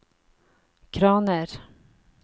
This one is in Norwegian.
kraner